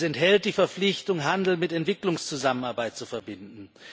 Es enthält die Verpflichtung, Handel mit Entwicklungszusammenarbeit zu verbinden.